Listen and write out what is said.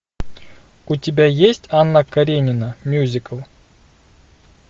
у тебя есть анна каренина мюзикл